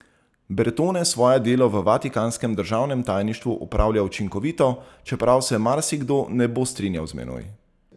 Bertone svoje delo v vatikanskem državnem tajništvu opravlja učinkovito, čeprav se marsikdo ne bo strinjal z menoj.